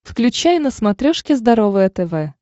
включай на смотрешке здоровое тв